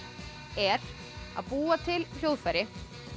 er að búa til hljóðfæri